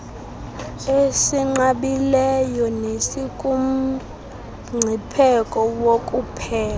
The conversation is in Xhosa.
esinqabileyo nesikumngcipheko wokuphela